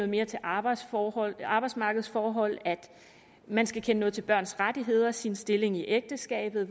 mere til arbejdsmarkedsforhold arbejdsmarkedsforhold at man skal kende noget til børns rettigheder sin stilling i ægteskabet